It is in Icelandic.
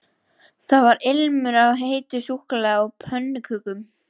Það var ilmur af heitu súkkulaði og pönnukökum